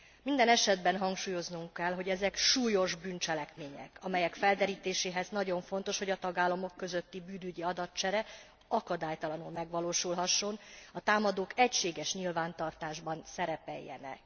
Minden esetben hangsúlyoznunk kell, hogy ezek súlyos bűncselekmények, amelyek felderítéséhez nagyon fontos, hogy a tagállamok közötti bűnügyi adatcsere akadálytalanul megvalósulhasson, a támadók egységes nyilvántartásban szerepeljenek.